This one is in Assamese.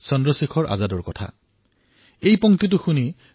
মই চন্দ্ৰশেখৰ আজাদৰ কথা কৈছোঁ